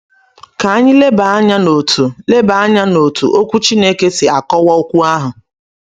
Ka anyị leba anya n’otú leba anya n’otú Okwu Chineke si akọwa okwu ahụ.